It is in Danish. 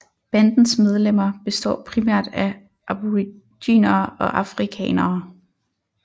Bandens medlemmer består primært af Aboriginere og Afrikanere